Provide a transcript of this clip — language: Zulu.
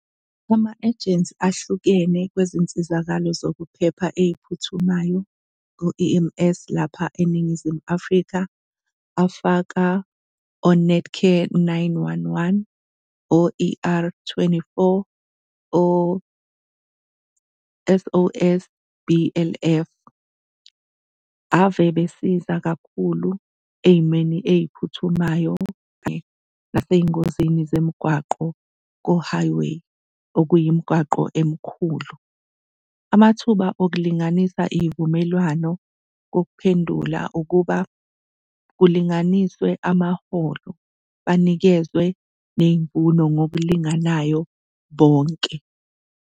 Ama-agency ahlukene kwezinsizakalo zokuphepha ey'phuthumayo ngo-E_M_S lapha eNingizimu Afrika afaka o-Netcare, u-nine-one-one, o-E_R twenty-four, o-S_O_S B_L_F. Ave besiza kakhulu ey'meni ey'phuthumayo kanye nasezingosini zomgwaqo ko-highway okuyimigwaqo emikhulu. Amathuba okulinganisa iy'vumelwano kokuphendula ukuba kulinganiswe amaholo, banikezwe ney'mfuno ngokulinganayo bonke.